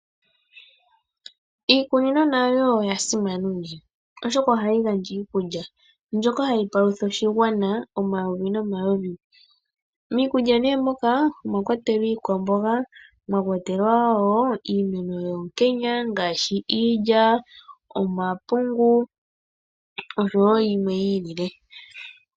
Iikunino nayo oya simana uunene, oshoka oha yi gandja iikulya mbyoka ha yi palutha oshigwana omayovi nomayovi. Miikulya ne moka omwakwatelwa iikwamboga, mwakwatelwa woo iimeno yoonkenya ngaashi iilya, omapungu osho woo yimwe yi ilile.